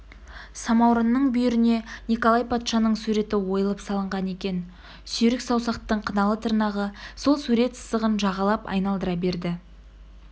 самаурынның бүйіріне николай патшаның суреті ойылып салынған екен сүйрік саусақтың қыналы тырнағы сол сурет сызығын жағалап айналдыра берді